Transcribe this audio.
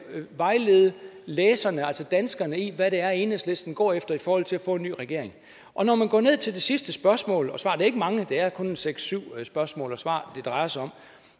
vejlede læserne altså danskerne i hvad det er enhedslisten går efter i forhold til at få en ny regering og når man går ned til det sidste spørgsmål svar er ikke mange det er kun seks syv spørgsmål svar det drejer sig om